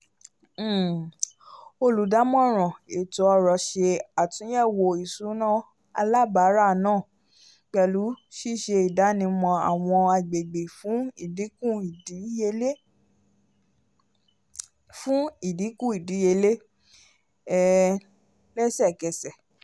um olùdámọ̀ràn ètó-ọ̀rọ̀ ṣe àtúnyẹwò ìṣúná alábara náà pẹlu siṣe ìdánimọ̀ awọn agbègbè fún idínkù ìdíyelé fún idínkù ìdíyelé um lẹsẹ k'ẹsẹ